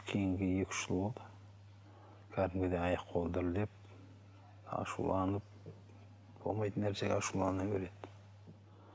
кейінгі екі үш жыл болды кәдімгідей аяқ қолы дірілдеп ашуланып болмайтын нәрсеге ашулана береді